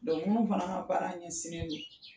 minnu fana ka baara ɲɛ sinen don